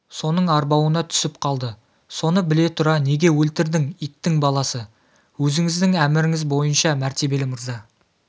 соның арбауына түсіп қалды соны біле тұра неге өлтірдің иттің баласы өзіңіздің әміріңіз бойынша мәртебелі мырза